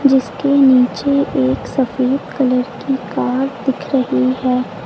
इसके नीचे एक सफेद कलर की कार दिख रही है।